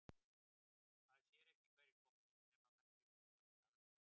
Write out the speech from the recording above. Maður sér ekki hverjir koma inn nema með því að snúa sér alveg við.